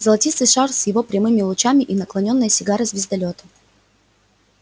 золотистый шар с его прямыми лучами и наклонённая сигара звездолёта